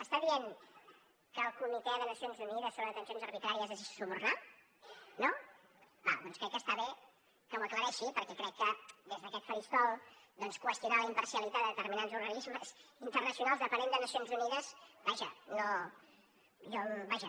està dient que el comitè de nacions unides sobre detencions arbitràries es deixa subornar no d’acord doncs crec que està bé que ho aclareixi perquè crec que des d’aquest faristol doncs qüestionar la imparcialitat de determinats organismes internacionals dependents de nacions unides vaja